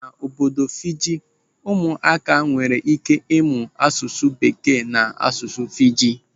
N'obodo Fiji, ụmụaka nwere ike ịmụ asụsụ bekee na asụsụ Fiji.